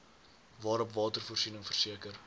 waarop watervoorsiening verseker